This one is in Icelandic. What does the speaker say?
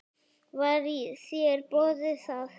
Var þér boðið það?